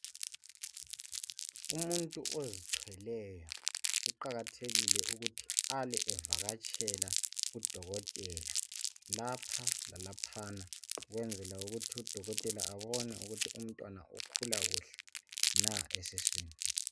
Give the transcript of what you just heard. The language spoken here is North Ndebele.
Umuntu ozithweleyo kuqakathekile ukuthi abe evakatshela odokotela, lapha lalaphana, ukwenzela ukuthi udokotela abone ukuthi umntwana ukhula kuhle na esiswini.